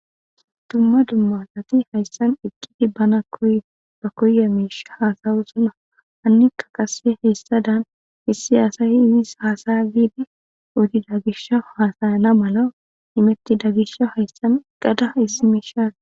Dumma dumma asati hayissan eqidi bana koyiza mishsha hasayosoba hanika qase hesadan issi asay hasaya gidi odida gishawu hasayana mala imetida gishawu hayisan eqada macassay eqada issi mishsha